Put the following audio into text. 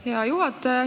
Hea juhataja!